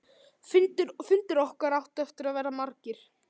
Fundir okkar áttu eftir að verða margir.